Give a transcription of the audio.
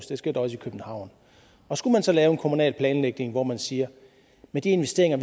det sker også i københavn og skulle man så lave en kommunal planlægning hvor man siger at med de investeringer